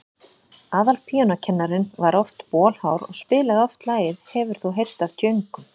Aðalpíanókennarinn var bolhár og spilaði oft lagið „Hefur þú heyrt af djöngum?“.